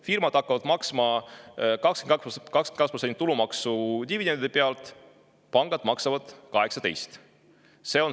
Firmad hakkavad maksma 22% tulumaksu dividendide pealt, pangad maksavad 18%.